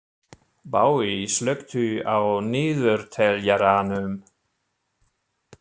Baui, slökktu á niðurteljaranum.